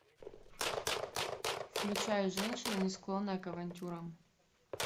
включай женщина не склонная к авантюрам